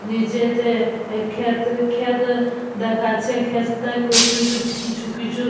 নিচেতে ক্ষেত ক্ষেত দেখাচ্ছে ক্ষেতে কুচু কুচু কিছু কিছু--